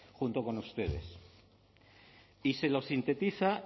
junto con ustedes y se sintetiza